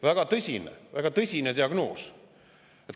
Väga tõsine, väga tõsine diagnoos.